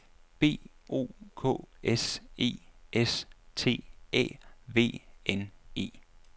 B O K S E S T Æ V N E